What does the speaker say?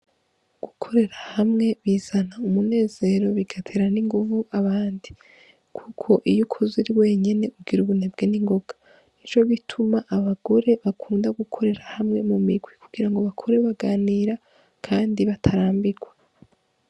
Gukorera hamwe bizana umunezero bigatera n' inguvu abandi kuko iyo ukoze uri wenyene ugira ubunebwe ningoga nico gituma abagore bakunda gukorera hamwe mu mirwi kugira ngo bakore baganira kandi batarambigwa.